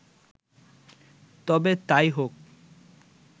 তবে তাই হোক